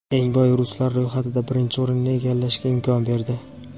eng boy ruslar ro‘yxatida birinchi o‘rinni egallashga imkon berdi.